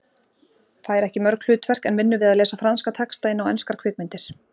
Fær ekki mörg hlutverk en vinnur við að lesa franska texta inn á enskar kvikmyndir.